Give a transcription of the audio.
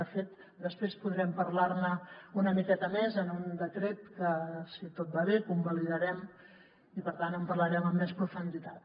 de fet després podrem parlar ne una miqueta més en un decret que si tot va bé convalidarem i per tant en parlarem amb més profunditat